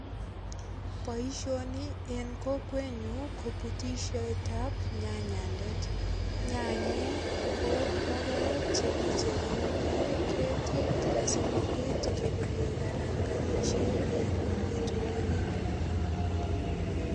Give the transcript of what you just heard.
Boisioni en kokwenyu ko butisiet ab nyanyandet. Nyanyek ko logoek che kicherune ketit asogopit kepekekaranganisie en amitwogik.